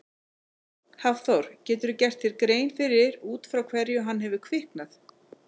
Hafþór: Geturðu gert þér grein fyrir út frá hverju hefur kviknað?